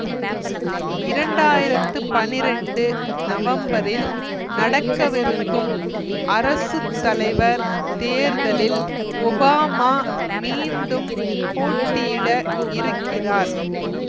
இரண்டு ஆயிரத்தி பனிரெண்டு நவம்பரில் நடக்கவிருக்கும் அரசு தலைவர் தேர்தலில் ஒபாமா மீண்டும் போட்டியிட இருக்கிறார்